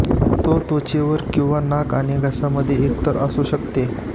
तो त्वचेवर किंवा नाक आणि घसा मध्ये एकतर असू शकते